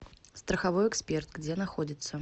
страховой эксперт где находится